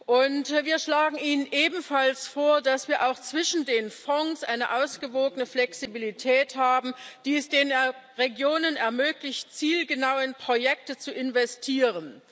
Und wir schlagen Ihnen ebenfalls vor, dass wir auch zwischen den Fonds eine ausgewogene Flexibilität haben, die es den Regionen ermöglicht, zielgenau in Projekte zu investieren.